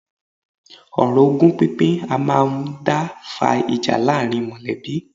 Ọ̀rọ̀ ogún pínpín a máà ń dá fa ìjà láàárín mọ̀lẹ́bí.